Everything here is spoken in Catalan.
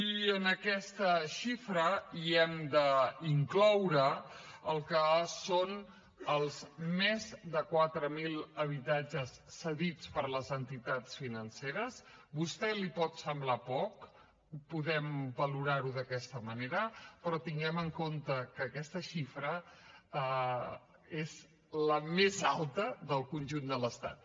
i a aquesta xifra hi hem d’incloure el que són els més de quatre mil habitatges cedits per les entitats financeres a vostè li pot semblar poc podem valorar ho d’aquesta manera però tinguem en compte que aquesta xifra és la més alta del conjunt de l’estat